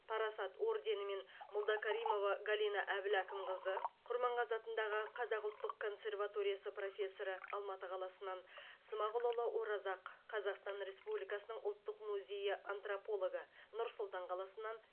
парасат орденімен молдакаримова галина әбіл әкімқызы құрманғазы атындағы қазақ ұлттық консерваториясы профессоры алматы қаласынан смағұлұлы оразақ қазақстан республикасының ұлттық музейі антропологы нұр сұлтан қаласынан